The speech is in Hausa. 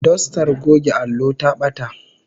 Dostar goge allo ta bata